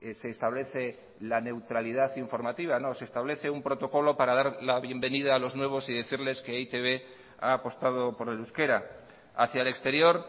se establece la neutralidad informativa no se establece un protocolo para dar la bienvenida a los nuevos y decirles que e i te be ha apostado por el euskera hacia el exterior